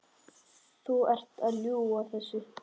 Þú ert að ljúga þessu!